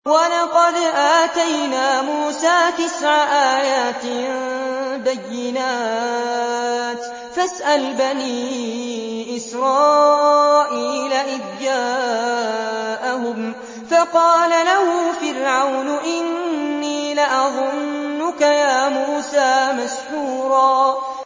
وَلَقَدْ آتَيْنَا مُوسَىٰ تِسْعَ آيَاتٍ بَيِّنَاتٍ ۖ فَاسْأَلْ بَنِي إِسْرَائِيلَ إِذْ جَاءَهُمْ فَقَالَ لَهُ فِرْعَوْنُ إِنِّي لَأَظُنُّكَ يَا مُوسَىٰ مَسْحُورًا